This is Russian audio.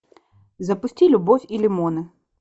запусти любовь и лимоны